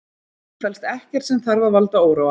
Í því felst ekkert sem þarf að valda óróa